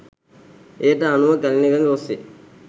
එයට අනුව කැලණි ගඟ ඔස්සේ